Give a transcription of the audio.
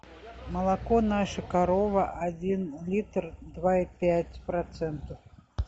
молоко наша корова один литр два и пять процентов